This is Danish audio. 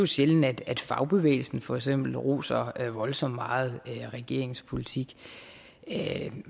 sjældent at fagbevægelsen for eksempel roser voldsomt meget regeringens politik